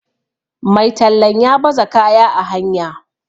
Mai tallan ya baza kaya a hanya